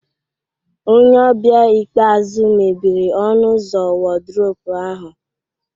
Onye ọbịa ikpeazụ mebiri ọnụ ụzọ wardrobe ahụ